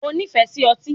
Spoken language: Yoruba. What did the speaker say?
O nífẹ̀ẹ́ sí otí?